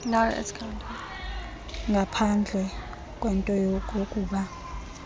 ngaphandleni kwento yokokuba